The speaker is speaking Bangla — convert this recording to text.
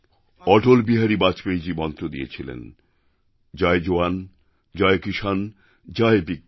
অটলবিহারী বাজপেয়ীজী মন্ত্র দিয়েছিলেন জয় জওয়ানজয় কিসানজয় বিজ্ঞান